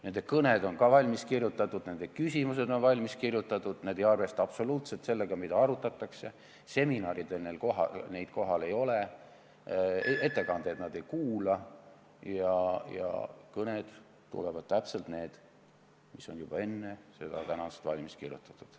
Nende kõned on valmis kirjutatud, nende küsimused on valmis kirjutatud, nad ei arvesta absoluutselt sellega, mida arutatakse, seminaridel neid kohal ei ole, ettekandeid nad ei kuula ja nende kõned tulevad täpselt sellised, nagu need on juba enne tänast arutelu valmis kirjutatud.